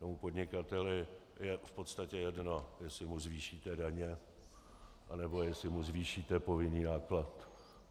Tomu podnikateli je v podstatě jedno, jestli mu zvýšíte daně, anebo jestli mu zvýšíte povinný náklad.